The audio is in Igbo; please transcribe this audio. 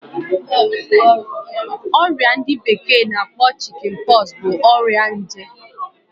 Oria ndi bekee na akpo Chickenpox bụ ọrịa nje